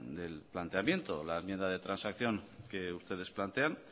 del planteamiento la enmienda de transacción que ustedes plantean